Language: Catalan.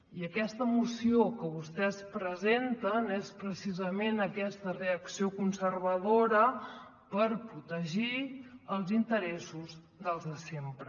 i aquesta moció que vostès presenten és precisament aquesta reacció conservadora per protegir els interessos dels de sempre